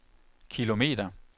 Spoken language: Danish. kilometer